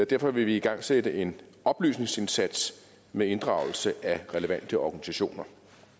derfor vil vi igangsætte en oplysningsindsats med inddragelse af relevante organisationer